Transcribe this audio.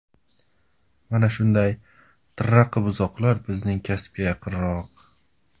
Mana shunday tirraqi buzoqlar bizning kasbga yaqinroq.